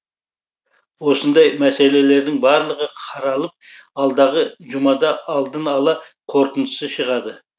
осындай мәселелердің барлығы қаралып алдағы жұмада алдын ала қорытындысы шығады